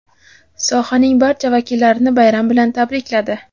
sohaning barcha vakillarini bayram bilan tabrikladi.